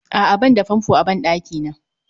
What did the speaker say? A'a banda fanfo a ban ɗakina